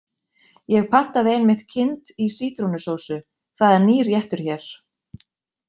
Ég pantaði einmitt kind í sítrónusósu, það er nýr réttur hér.